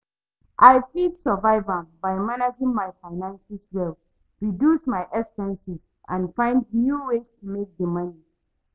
I fit survive am by managing my finances well, reduce my expenses and find new ways to make di money.